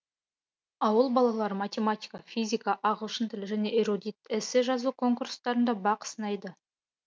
ауыл балалары математика физика ағылшын тілі және эрудит эссе жазу конкурстарында бақ сынайды